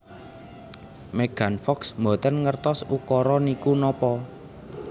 Megan Fox mboten ngertos ukara niku napa